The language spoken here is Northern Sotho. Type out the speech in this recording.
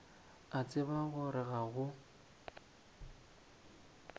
a tseba gore ga go